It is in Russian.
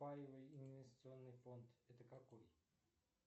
паевый инвестиционный фонд это какой